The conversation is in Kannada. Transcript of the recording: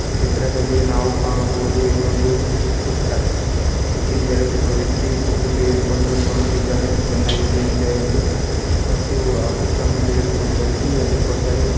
ಈ ಚಿತ್ರದಲ್ಲಿ ನಾವು ಕಾಣಬಹುದು ಇದು ಒಂದು ಬುಕ್ ಸ್ಟಾಲ್ ಏಕೆಂದರೆ ಒಬ್ಬ ವ್ಯಕ್ತಿ ಬುಕ್ಕು ತೆಗುದು ಕೊಂಡು ನೋಡುತಿದಾನೆ ಚೆನ್ನಾಗಿ ಇದೆ ಇಲ ಎಂದು ಮತ್ತು ಆ ಬುಕ್ ಅನ್ನು ತೆಗುದು ಕೊಂಡು ಹೋಗಿ ಅಲ್ಲಿ ಕೊಟ್ಟರೆ.